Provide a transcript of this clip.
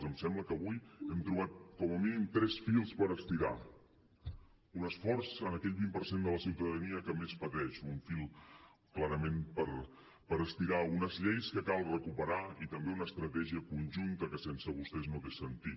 em sembla que avui hem trobat com a mínim tres fils per estirar un esforç en aquell vint per cent de la ciutadania que més pateix un fil clarament per estirar unes lleis que cal recuperar i també una estratègia conjunta que sense vostès no té sentit